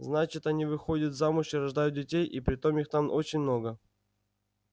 значит они выходят замуж и рождают детей и притом их там очень много